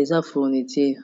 eza fourniture